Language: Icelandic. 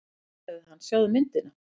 Nei sagði hann, sjáðu myndina.